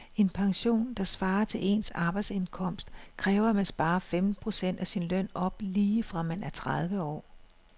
En pension, der svarer til ens arbejdsindkomst, kræver at man sparer femten procent af sin løn op lige fra man er tredive år.